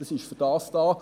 es ist dafür da.